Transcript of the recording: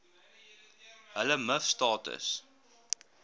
hulle miv status